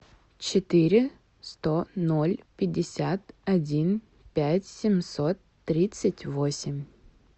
четыре сто ноль пятьдесят один пять семьсот тридцать восемь